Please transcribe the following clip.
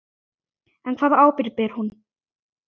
En hvaða ábyrgð ber hún?